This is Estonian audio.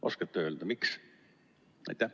Oskate öelda, miks?